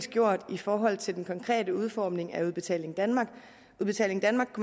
gjort i forhold til den konkrete udformning af udbetaling danmark udbetaling danmark